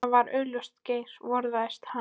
Það var augljóst að Geir forðaðist hann.